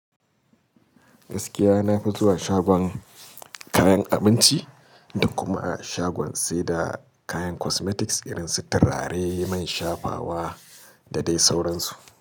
Gaskiya nafi zuwa shagon kayan abinci, da kuma shagon sai da kayan cosmetics irin su turare mai shafawa da dai sauransu.